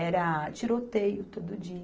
Era tiroteio todo dia.